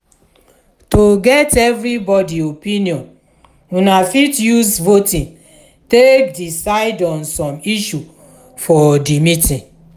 to get evrybody opinion una fit use voting take diecide on some issue for di meeting